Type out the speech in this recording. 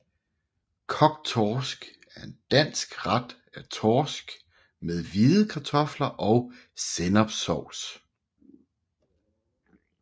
Kogt torsk er en dansk ret af torsk med hvide kartofler og sennepssovs